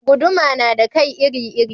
Guduma na da kai iri iri